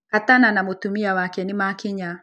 Katana na mũtumia wake nĩmakinya.